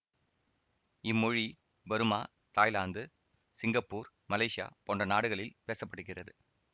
இம்மொழி Burma Thailand Singapore Malaysia போன்ற நாடுகளில் பேச படுகிறது